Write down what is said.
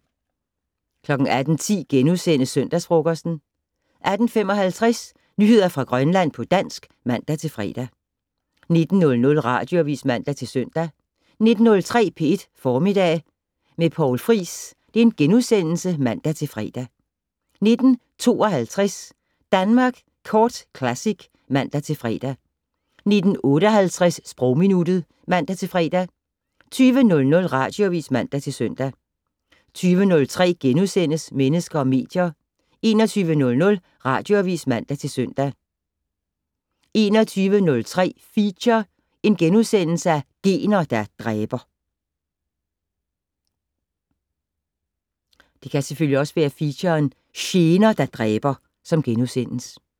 18:10: Søndagsfrokosten * 18:55: Nyheder fra Grønland på dansk (man-fre) 19:00: Radioavis (man-søn) 19:03: P1 Formiddag med Poul Friis *(man-fre) 19:52: Danmark Kort Classic (man-fre) 19:58: Sprogminuttet (man-fre) 20:00: Radioavis (man-søn) 20:03: Mennesker og medier * 21:00: Radioavis (man-søn) 21:03: Feature: Gener der dræber *